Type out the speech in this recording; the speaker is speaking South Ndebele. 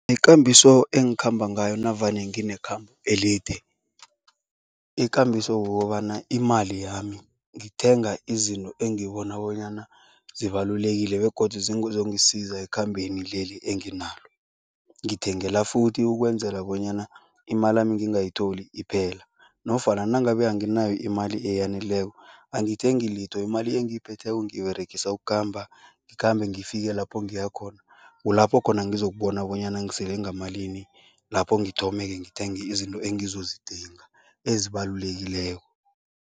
Ikambiso engikhamba ngayo navane nginekhambo elide, ikambiso kukobana imali yami ngithenga izinto engibona bonyana zibalulekile begodu zizongisiza ekhambeni leli enginalo. Ngithengela futhi ukwenzela bonyana imalami ngingayitholi iphela nofana nangabe anginayo imali eyaneleko, angithengi litho, imali engiyiphetheko ngiyiberegisa ukukhamba, ngikhambe ngifike lapho ngiyakhona. Kulapho khona ngizokubona bonyana ngisele ngamalini, lapho ngithome-ke ngithenge izinto engizozidinga, ezibalulekileko.